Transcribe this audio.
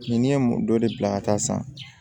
Ni ye dɔ de bila ka taa san